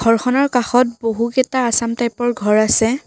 ঘৰখনৰ কাষত বহুকেইটা আছাম টাইপ ৰ ঘৰ আছে।